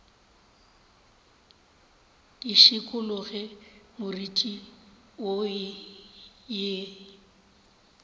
ke šikologe moriti wo ye